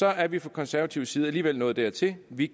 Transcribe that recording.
er vi fra konservativ side alligevel nået dertil at vi